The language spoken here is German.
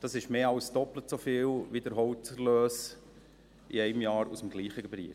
Das ist mehr als doppelt so viel wie der Holzerlös in einem Jahr aus dem gleichen Gebiet.